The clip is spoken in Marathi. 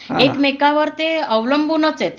एकमेकावर ते अवलंबूनच आहेत